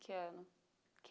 ano? Que